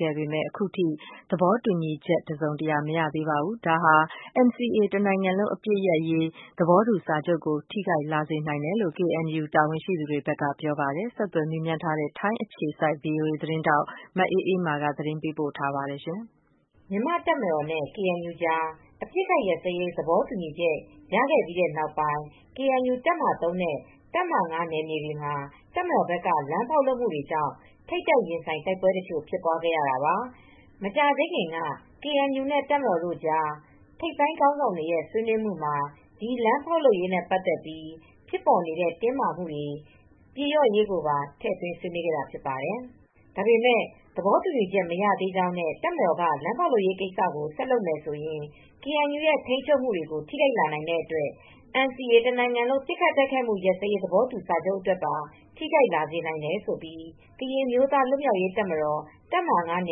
ခဲ့ပေမယ့် အခုထိ သဘောတူညီချက် တစုံတရာ မရသေး တာဟာ NCA တနိုင်ငံလုံး ပစ်ခတ်တိုက်ခိုက်မူ ရပ်စဲရေး သဘောတူစာချုပ်ကို ထိခိုက်လာစေ နိုင်တယ်လို့ ကေအန်ယူ တာဝန်ရှိသူတွေကဆိုပါတယ်။ ဆက်သွယ်မေးမြန်း ထားတဲ့ ဗွီအိုအေသတင်းထောက် မအေးအေးမာက သတင်းပေးပို့ထားပါတယ်။ မြန်မာတပ်မတော်နဲ့ ကေအန်ယူကြား အပစ်အခတ်ရပ်စဲရေး သဘောတူညီချက် ရခဲ့ပြီးတဲ့ နောက်ပိုင်း ကေအန်ယူ တပ်မဟာ ၃နဲ့ တပ်မဟာ ၅ နယ်မြေတွေမှာ တပ်မတော်ဘက်က လမ်းဖောက်လုပ်မှုတွေ ကြောင့် ထိပ်တိုက် ရင်ဆိုင် တိုက်ပွဲ တချို့ ဖြစ်ပွားခဲ့ရတာပါ။ မကြာသေးခင်က ကေအင်ယူ နဲ့ တပ်မတော် တို့ကြား ထိပ်ပိုင်းခေါင်းဆောင်တွေရဲ့ ဆွေးနွေးမှုမှာ ဒီလမ်းဖောက်လုပ်ရေး နဲ့ ပတ်သက်ပြီး ဖြစ်ပေါ်နေတဲ့ တင်းမာမှုတွေ ပြေလျော့ ရေးကိုပါ ထည့်သွင်း ဆွေးနွေးခဲ့တာ ဖြစ်ပါတယ်။ ဒါပေမယ့် သဘောတူညီမှု မရသေး ကြောင်းနဲ့ တပ်မတော်က လမ်းဖောက်လုပ်ရေးကိစ္စကို ဆက်လုပ်မယ် ဆိုရင် ကေအန်ယူ ရဲ့ ထိန်းချုပ်မူတွေကို ထိခိုက်လာနိုင်တဲ့ အတွက် NCA တနိုင်ငံလုံး ပစ်ခတ်တိုက်ခိုက်မူရပ်စဲရေး သဘောတူစာချုပ် အတွက်ပါ ထိခိုက်လာစေ နိုင်တယ်လို့ ကရင်အမျိုးသား လွတ်မြောက်ရေးတပ် တပ်မဟာ ၅န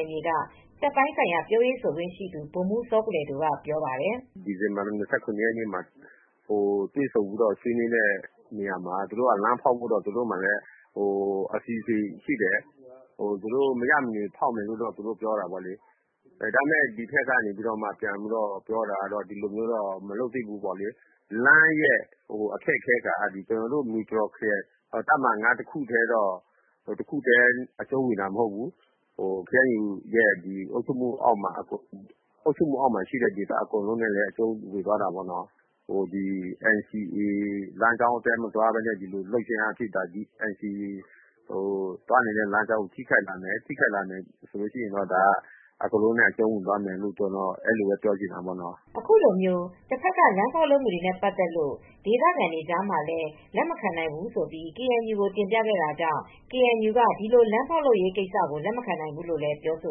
ယ်မြေက တပ်ပိုင်းဆိုင်ရာ ပြောရေးဆိုခွင့်ရှိသူ ဗိုလ်မှူး စောကလဲဒိုက ပြောပါတယ်။ “ပြီးခဲ့တဲ့ ဒီဇင်ဘာလ၂၇ ရက်နေ့က တွေ့ဆုံ ဆွေးနွေးတာ ကတော့ လမ်းဖောက်ဖို့တော့ အစီအစဉ်ရှိတယ်။ သူတို့က မဖြစ်မနေ ဖောက်မယ်ပေါ့လေ။ ကေအန်ယူက ပြောတာကတော့ ဒီလိုမျိုး မလုပ်သင့်ပေါ့။ လမ်းရဲ့ အခက်အခဲက ကျနော်တို့တပ်မဟာ ၅နယ်မြေ မူတရော်က ခရိုင်အတွက်ပဲ အကျုံးဝင်တာ မဟုတ်ဘူး ကေအန်ယူရဲ့ အုပ်ချုပ်မူအောက်မှာ ရှိတဲ့ဒေသ အကုန်လုံးအတွက် အကျုံးဝင်တယ်။ NCA လမ်းကြောင်းအတိုင်း မသွားပဲနဲ့ ဒီလို လုပ်ခြင်းအားဖြင့် NCA ကို ထိခိုက်လာမယ် ဆိုရင်တော့ အကုန်လုံးနဲ့ အကျုံးဝင်သွားမှာဖြစ်တယ် လို့ ကျနော် ပြောချင်တယ်။” အခုလို တပ်ဘက်က လမ်းဖောက်လုပ်မူတွေနဲ့ ပတ်သက်လို့ ဒေသခံတွေကလည်း လက်မခံနိုင်ဘူးလို့ ကေအန်ယူကို တင်ပြခဲ့တာကြောင့် ကေအန်ယူက ဒီလို လမ်းဖောက်ဖို့ ကိစ္စကို လက်မခံနိုင်ဘူး လို့လည်း ပြောဆို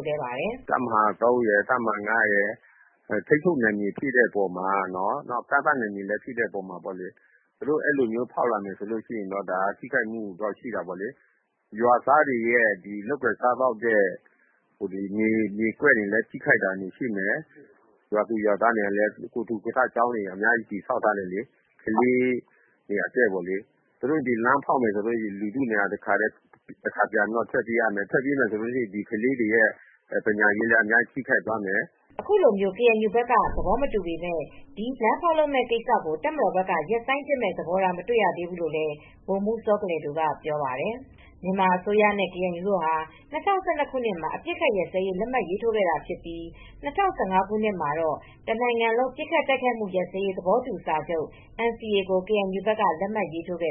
ပါတယ်။ “တပ်မဟာ ၃ရယ်၊ တပ်မဟာ ၅ရယ် ထိန်းချူပ်နယ်မြေတွေဖြစ်တဲ့အပေါ်မှာ ကန့်သတ်နယ်မြေ ဖြစ်တဲ့အပေါ်မှာ သူတို့ အဲဒီလိုဖောက်ရင် ထိခိုက်မူတွေရှိမယ်။ ရွာသားတွေ အတွက်လည်း သူတို့ လုပ်ကိုင်စားသောက်တဲ့ မြေကွက် တွေလည်း ထိခိုက်တာရှိမယ်။ ရွာသူရွာသားတွေကလည်း ကိုယ်ထူ ကိုယ်ထ လုပ်ထားတဲ့ စာသင်ကျောင်းတွေ အများကြီး တည်ဆောက်ထားတယ်။ ကလေးတွေအတွက်ပေါ့လေ။ သူတို့ လမ်းဖောက်ရင် ရွာသူရွာသားတွေက ထွက်ပြေးရမယ်။ ဒီအတွက် ကလေးတွေ ပညာရေးလည်း အများကြီးထိခိုက်မယ်။” အခုလို ကေအန်ယူဘက်က သဘောမတူ ပေမယ့် ဒီလမ်းဖောက်လုပ်မဲ့ကိစ္စကို တပ်မတော်ဘက်က ရပ်ဆိုင်း ပစ်မယ့် သဘောထား မတွေ့ရ သေးဘူးလိုလည်း ဗိုလ်မှူး စောကလဲဒိုက ပြောပါတယ်။ မြန်မာအစိုးရနဲ့ ကေအန်ယူတို့ဟာ၂၀၁၂ ခုနှစ်မှာ အပစ်ခတ်ရပ်စဲရေး လက်မှတ်ရေးထိုးခဲ့တာ ဖြစ်ပြီး၊ ၂၀၁၅ ခုနှစ်မှာ တော့ တနိုင်ငံလုံးပစ်ခတ်တိုက်ခတ်မူ ရပ်စဲရေး သဘောတူစာချုပ် NCA ကို KNU က လက်မှတ်ရေးထိုးခဲ့